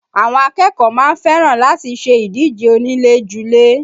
Àwọn akẹ́kọ̀ọ́ máa ń fẹ́ràn láti ṣe ìdíje onílé-julé